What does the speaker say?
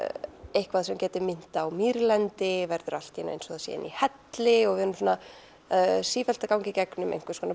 eitthvað sem gæti minnt á mýrlendi verður allt í einu eins og það sé inni í helli og við erum sífellt að ganga í gegnum einhvers konar